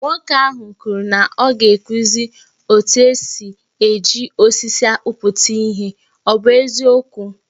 Nwoke ahụ kwuru na ọ ga-akụzi etu esi e ji osisi akpụpụta ihe, ọ bụ eziokwu?